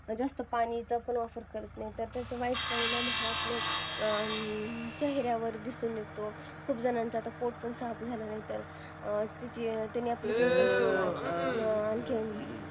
जास्त पाणी प्राशन करत नाही त्याचा वाईट परिणाम आपल्या चेहऱ्यावर दिसून येतो खूप जणांचा आता पोट पण साफ नाही झालं तर त्याने आपले pimples येतात